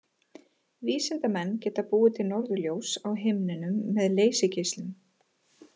Vísindamenn geta búið til norðurljós á himninum með leysigeislum.